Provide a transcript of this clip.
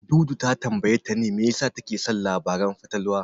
Dudu ta tambayi Tani me yasa take son labaran fatalwa.